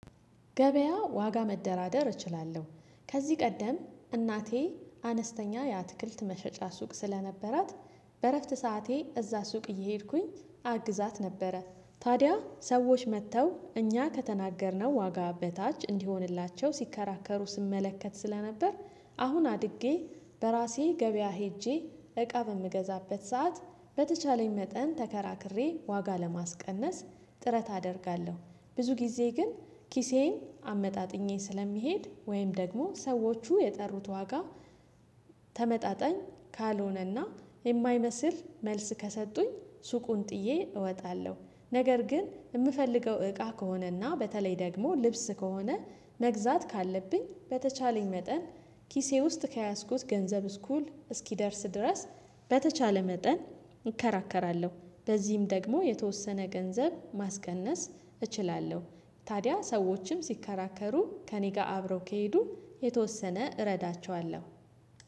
ገበያ ዋጋ መደራደር እችላለሁ ከዚህ ቀደም እናቴ አነስተኛ የአትክልት መሸጫ ሱቅ ስለነበራት በእረፍት ሰዓቴ እዛ ሱቅ እየሄድኩኝ አግዛት ነበረ። ታዲያ ሰዎች መጥተው እኛ ከተናገርነው ዋጋ በታች እንዲሆንላቸው ሲከራከሩ ስመለከት ስለነበር አሁን አድጌ በራሴ ገበያ ሄጄ እቃ በምገዛበት ሰዓት በተቻለኝ መጠን ተከራክሬ ዋጋ ለማስቀነስ ጥረት አደርጋለሁ። ብዙ ጊዜ ግን ኪሴን አመጣጥኜ ስለሚሄድ ወይም ደግሞ ሰዎቹ የጠሩት ዋጋ ተመጣጣኝ ካልሆነና የማይመስል መልስ ከሰጡኝ ሱቁን ጥዬ እወጣለሁ። ነገር ግን የምፈልገው እቃ ከሆነና በተለይ ደግሞ ልብስ ከሆነ መግዛት ካለብኝ በተቻለኝ መጠን ኪሴ ውስጥ ከያዝኩት ገንዘብ እኩል እስኪደርስ ድረስ በተቻለ መጠን እከራከራለሁ። በዚህም ደግሞ የተወሰነ ገንዘብ ማስቀነስ እችላለሁ። ታዲያ ሰዎችም ሲከራከሩ ከእኔ ጋር አብረው ከሄዱ የተወሰነ እረዳቸዋለሁ።